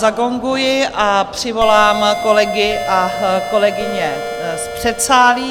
Zagonguji a přivolám kolegy a kolegyně z předsálí.